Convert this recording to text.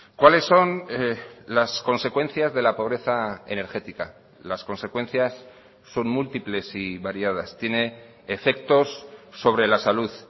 cuáles son las consecuencias de la pobreza energética las consecuencias son múltiples y variadas tiene efectos sobre la salud